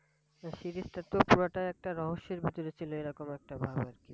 Series টা তো পুরোটাই একটা রহস্যের ভিতরে ছিল এরকম একটা ভাব আর কি।